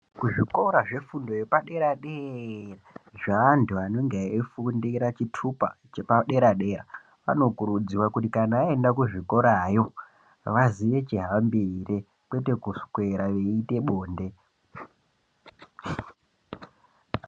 Kuzvikora kwefundo yepadera dera zveantu anenge eifundira chitupa chepadera dera anokurudzirwa kuti kana vaenda kuzvikorayo vaziye chihambire kwete kuswera veiita bonde.